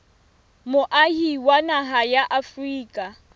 moahi wa naha ya afrika